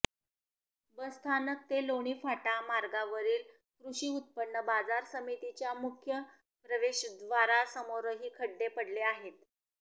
बसस्थानक ते लोणी फाटा मार्गावरील कृषी उत्पन्न बाजार समितीच्या मुख्य प्रवेशद्वारासमोरही खड्डे पडले आहेत